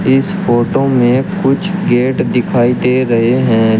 इस फोटो में कुछ गेट दिखाई दे रहे हैं।